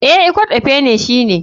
Eh, ikot ekpene shine.